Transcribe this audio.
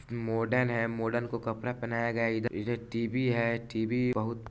Modern है modern को कपड़ा पहनाया गया है इधर इधर टी.वी. है टी.वी. बहुत --